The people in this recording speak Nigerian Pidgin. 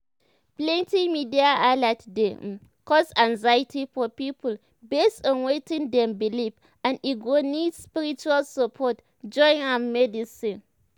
plenty media alert dey um cause anxiety for people based on wetin dem believe and e go need spiritual support join um medicine."